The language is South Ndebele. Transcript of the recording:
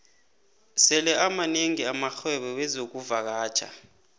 sele amanengi amarhwebo wexkuvakatjha